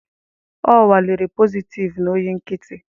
Ọ nwalere positịvu na oyi nkịtị